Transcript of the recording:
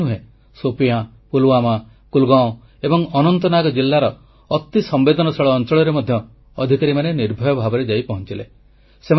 ଖାଲି ସେତିକି ନୁହେଁ ସୋପିୟାଁ ପୁଲୱାମା କୁଲଗାଁଓ ଏବଂ ଅନନ୍ତନାଗ ଜିଲାର ଅତି ସମ୍ବେଦନଶୀଳ ଅଂଚଳରେ ମଧ୍ୟ ଅଧିକାରୀମାନେ ନିର୍ଭୟ ଭାବରେ ଯାଇ ପହଞ୍ଚିଲେ